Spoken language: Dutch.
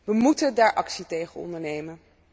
We moeten daar actie tegen ondernemen.